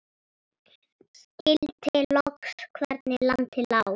Skildi loks hvernig landið lá.